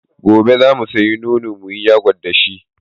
Gobe za mu sayi nono mu yi yagot da shi.